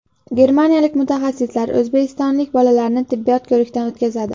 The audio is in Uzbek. Germaniyalik mutaxassislar o‘zbekistonlik bolalarni tibbiy ko‘rikdan o‘tkazadi.